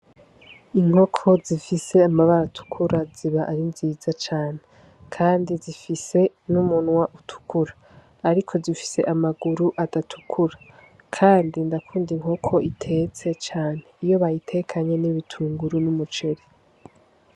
Inkoko zifise amabara atukura ziba ari nziza cane kandi zifise n' umunwa utukura ariko zifise n' amaguru adatukura kandi ndakunda inkoko itetse cane iyo bayitekanye n' ibitunguru n' umuceri.